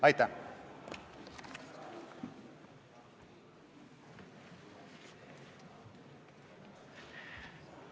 Aitäh!